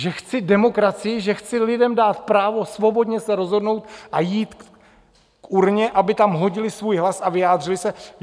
Že chci demokracii, že chci lidem dát právo svobodně se rozhodnout a jít k urně, aby tam hodili svůj hlas a vyjádřili se?